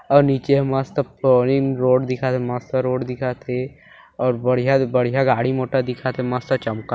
--और नीचे मस्त पोडीन रोड दिखत हे मस्त रोड दिखत हे और बड़िया बढ़िया गाड़ी मोटर दिखत हे मस्त चमका--